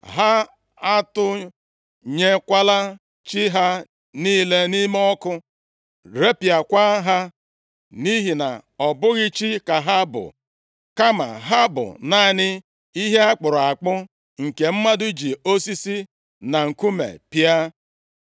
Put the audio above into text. Ha atụnyekwala chi ha niile nʼime ọkụ, repịakwa ha, nʼihi na ọ bụghị chi ka ha bụ, kama ha bụ naanị ihe a kpụrụ akpụ, nke mmadụ ji osisi na nkume pịa.